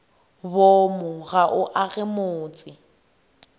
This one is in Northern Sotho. boomo ga bo age motse